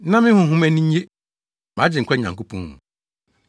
Na me honhom ani gye mʼagyenkwa Nyankopɔn mu;